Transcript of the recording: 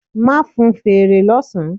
Ma fún feré lọ sán